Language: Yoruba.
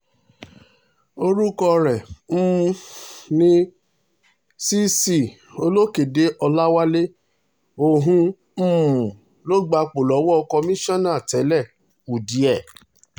orúkọ rẹ̀ um ni cc olókóde ọláwálé òun um ló gbapò lọ́wọ́ kọmíṣánná tẹ́lẹ̀ udiẹ j